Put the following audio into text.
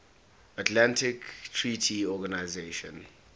atlantic treaty organisation